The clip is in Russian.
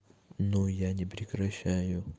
ну я не прекращаю